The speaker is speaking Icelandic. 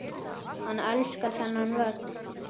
Hann elskar þennan völl.